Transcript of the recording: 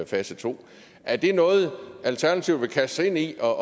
fase to er det noget alternativet vil kaste sig ind i og